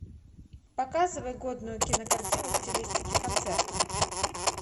показывай годную кинокартину в стилистике концерта